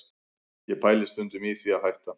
Ég pæli stundum í því að hætta